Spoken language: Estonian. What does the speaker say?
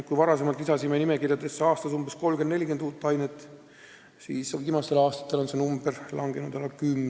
Kui me varem lisasime nimekirjadesse aastas 30–40 uut ainet, siis viimastel aastatel on see arv langenud alla kümne.